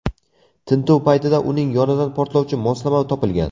Tintuv paytida uning yonidan portlovchi moslama topilgan.